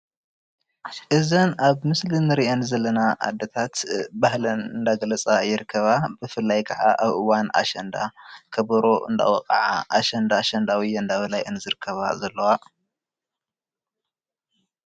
እዘን ኣብ ምስሊ እንሪአን ዘለና ኣዴታት ባህለን እንዳገለፃ ይርከባ ብፍላይ ክዓ ኣብ እዋን ኣሸንዳ ከበሮ እንዳወቅዓ ኣሸንዳ ኣሸንዳ ውየ እንዳ በላ እየን ዝርከባ ዘለዋ፡፡